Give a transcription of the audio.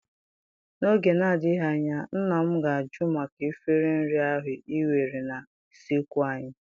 N'oge na-adịghị anya, nna m ga-ajụ maka efere nri ahụ ị were na usekwu anyị.